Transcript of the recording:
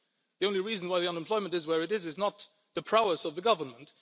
The only reason why unemployment is where it is, is not the prowess of the government